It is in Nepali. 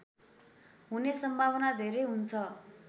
हुने सम्भावना धेरै हुन्छ